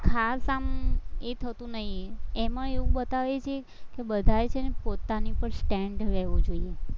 ખાસ આમ એ થતું નહીં, એમાં એવું બતાવે છે કે બધાએ છે ને પોતાની ઉપર હોવો જોઈએ.